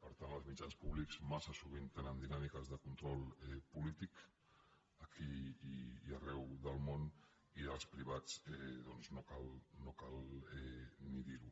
per tant els mitjans públics massa sovint tenen dinàmiques de control polític aquí i arreu del món i dels privats doncs no cal ni dir ho